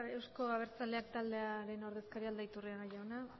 euzko abertzaleak taldearen ordezkaria aldaiturriaga jauna